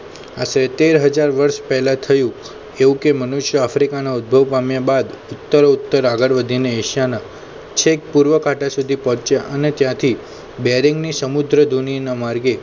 આશરે તેર હજાર વર્ષ પહેલાં થયું એવું કે મનુષ્ય આફ્રિકાના ઉદ્ભવ પામ્યા બાદ ઉત્તર ઉત્તર આગળ વધીને એશિયાના છેક પૂર્વ આંટા સુધી પહોંચ્યા અને ત્યાંથી બેરિંગની સમુદ્રધુની ના માર્ગે